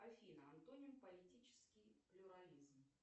афина антоним политический плюрализм